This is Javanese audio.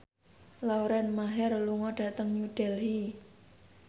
Lauren Maher lunga dhateng New Delhi